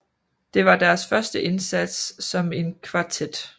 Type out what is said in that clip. Det var deres første indsats som en kvartet